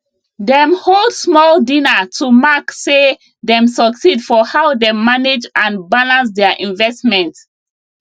dem hold small dinner to mark say dem succeed for how dem manage and balance their investment